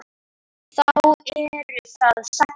Þá eru það sagnir.